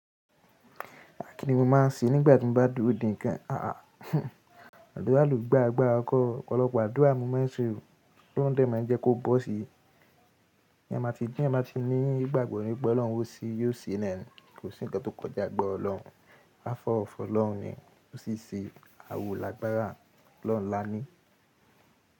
Kínni mo máa ń ṣe nígbà tí mo bá dúró dè kan. Àá, àdúrà ló gbà agbára kọ, ọ̀pọ̀lọpọ̀ àdúrà ni mo máa ṣe o, ọlọ́run dẹ̀ máa jẹ́ kó bọ́ sí. Bí ẹ ma ti gbìn, ẹ má ti ní ìgbàgbọ́ nípẹ́ Ọlọ́run, ó ṣí yóò ṣe ẹ́ lẹ́nu. Kò sí ǹkan tó kọjà agbára Ọlọ́run. Afọ́ ọ̀rọ̀ fọlọ́run ni. Ó sì ń ṣe àwòlà àgbárà Ọlọ́run lání.